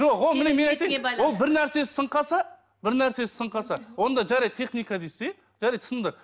жоқ ол ол бірнәрсесі сынып қалса бірнәрсесі сынып қалса онда жарайды техника дейсіз иә жарайды сынды